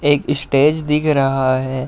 एक स्टेज दिख रहा है।